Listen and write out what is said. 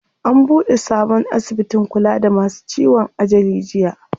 An buɗe sabon asibitin kula da masu ciwon ajali jiya.